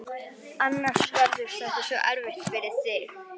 Annars verður þetta svo erfitt fyrir þig.